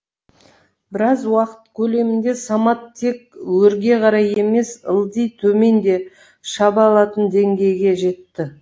біраз уақыт көлемінде самат тек өрге қарай емес ылди төмен де шаба алатын деңгейге жетті